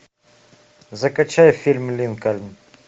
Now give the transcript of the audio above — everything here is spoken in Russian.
закачай фильм линкольн